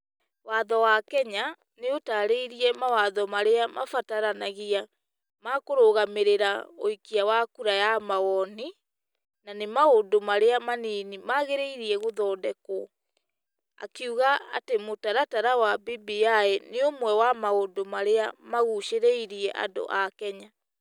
Watho wa Kenya nĩ ĩtaarĩirie mawatho marĩa mabataranagia ma kũrũgamĩrĩra ũikia wa kura ya mawoni, na nĩ maũndũ marĩa manini magĩrĩire gũthondekrwo. Akiuga atĩ mũtaratara wa BBI nĩ ũmwe wa maũndũ marĩa magucĩrĩirie andũ a Kenya.